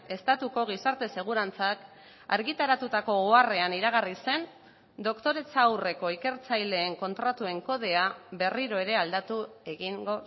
estatuko gizarte segurantzak argitaratutako oharrean iragarri zen doktoretza aurreko ikertzaileen kontratuen kodea berriro ere aldatu egingo